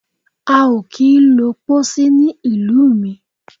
A ò kí ń lo Pósí ní ìlú mi.